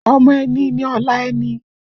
Ọmọ ẹni ni ọ̀la ẹni